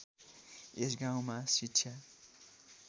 यस गाउँमा शिक्षा